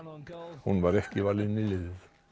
hún var ekki valin í liðið